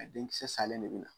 A denkisɛ salen de bɛ na.